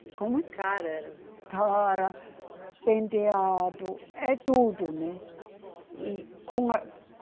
A cara era. Cara, penteado, é tudo, né. E com a